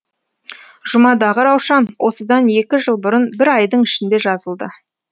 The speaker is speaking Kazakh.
жұмадағы раушан осыдан екі жыл бұрын бір айдың ішінде жазылды